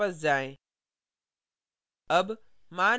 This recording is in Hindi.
program पर वापस जाएँ